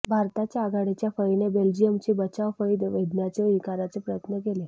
भारताच्या आघाडीच्या फळीने बेल्जियमची बचावफळी भेदण्याचे निकराचे प्रयत्न केले